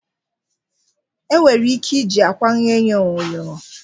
Enwere ike iji akwa ghee onye onyoghonyo